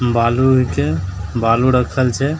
बालू हीके बालू रखल छै ।